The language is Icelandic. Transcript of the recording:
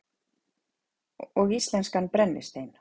Og íslenskan brennistein.